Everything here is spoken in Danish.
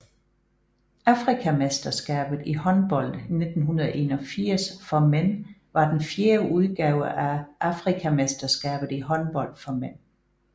Afrikamesterskabet i håndbold 1981 for mænd var den fjerde udgave af Afrikamesterskabet i håndbold for mænd